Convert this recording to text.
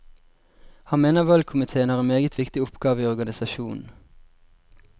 Han mener valgkomitéen har en meget viktig oppgave i organisasjonen.